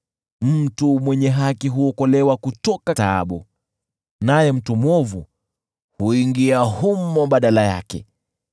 Mtu mwenye haki huokolewa kutoka taabu, naye mtu mwovu huingia humo badala yake.